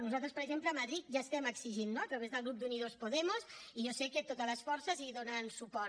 nosaltres per exemple a madrid ja estem exigint no a través del grup d’unidos podemos i jo sé que totes les forces hi donen suport